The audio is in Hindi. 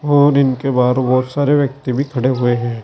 और इनके बाहर बहोत सारे व्यक्ति भी खड़े हुए है।